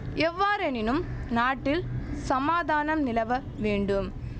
எவ்வாறெனினும் நாட்டில் சமாதானம் நிலவ வேண்டும்